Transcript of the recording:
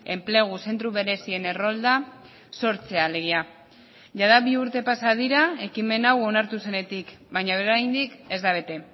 enplegu zentro berezien errolda sortzea alegia jada bi urte pasa dira ekimen hau onartu zenetik baina oraindik ez da bete